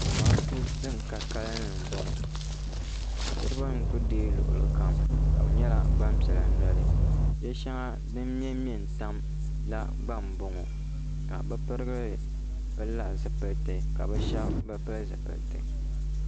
Zamaatu ban ka kanli n bɔŋɔ niriba nkuli dɛɛ luɣili kam ka bi nyɛla gbaŋ piɛla noli yiɛ shɛŋa dini mɛ n mɛn tam gba n bɔŋɔ ka bi pirigil pili la zipiliti ka bi shɛba bi pili zipiliti.